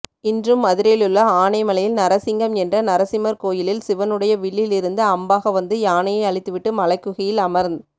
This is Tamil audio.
இன்றும் மதுரையிலுள்ள ஆனைமலையில் நரசிங்கம் என்ற நரசிம்மர் கோயிலில் சிவனுடைய வில்லிலிருந்து அம்பாக வந்து யானையை அழித்துவிட்டு மலைக்குகையில் அமர்ந்